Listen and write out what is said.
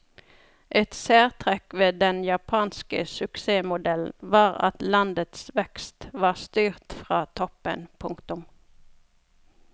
Et særtrekk ved den japanske suksessmodellen var at landets vekst var styrt fra toppen. punktum